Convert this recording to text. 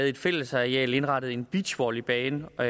et fællesareal ville indrette en beachvolleybane og